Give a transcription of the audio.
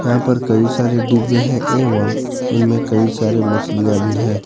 यहां पर कई सारे डिब्बे हैं एवं उनमें कई सारे मछलियां भी हैं।